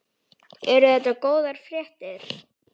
Eru þetta góðar fréttir?